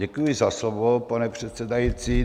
Děkuji za slovo, pane předsedající.